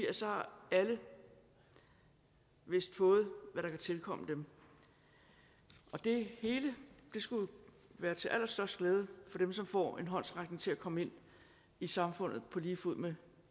at så har alle vist fået hvad der kan tilkomme dem og det hele skulle være til allerstørst glæde for dem som får en håndsrækning til at komme ind i samfundet på lige fod med